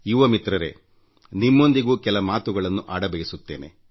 ಯುವ ಮಿತರ್ರೇ ನಾನು ನಿಮ್ಮೊಂದಿಗೂ ಕೆಲ ಮಾತುಗಳನ್ನು ಆಡಬಯಸುತ್ತೇನೆ